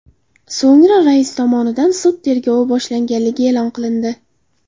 So‘ngra rais tomonidan sud tergovi boshlanganligi e’lon qilindi.